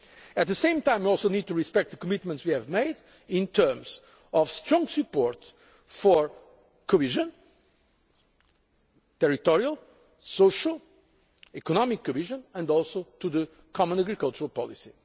agenda. At the same time, we need to respect the commitments we have made to strong support for cohesion territorial, social and economic cohesion and also to the common agricultural